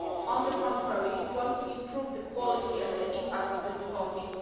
On the contrary, we want to improve the quality and the impact of the reporting